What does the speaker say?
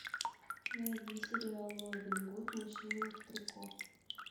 найди сериал робин гуд мужчины в трико